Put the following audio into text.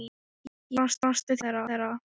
Ég brosti til þeirra.